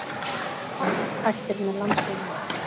Park hættir með landsliðinu